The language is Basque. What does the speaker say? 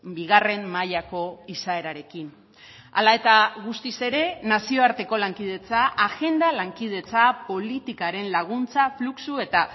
bigarren mailako izaerarekin hala eta guztiz ere nazioarteko lankidetza agenda lankidetza politikaren laguntza fluxu eta